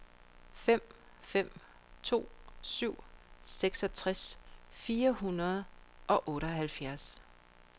fem fem to syv seksogtres fire hundrede og otteoghalvfjerds